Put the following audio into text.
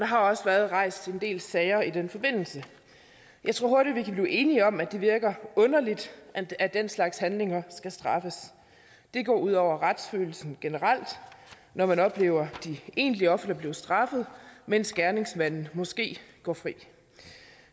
har også været rejst en del sager i den forbindelse jeg tror vi hurtigt kan blive enige om at det virker underligt at at den slags handlinger skal straffes det går ud over retsfølelsen generelt når man oplever de egentlige ofre blive straffet mens gerningsmanden måske går fri